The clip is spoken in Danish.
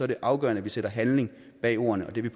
det afgørende at vi sætter handling bag ordene og det